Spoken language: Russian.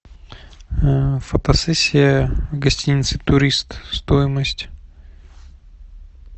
фотосессия в гостинице турист стоимость